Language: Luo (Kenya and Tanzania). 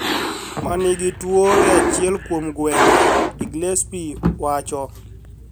Ma nigi tuo e achiel kuom gwenge", Inglesby wacho.